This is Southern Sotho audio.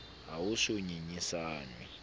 ha ho se ho ngangisanwe